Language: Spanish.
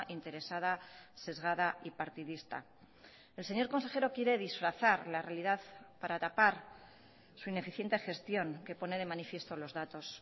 interesada sesgada y partidista el señor consejero quiere disfrazar la realidad para tapar su ineficiente gestión que pone de manifiesto los datos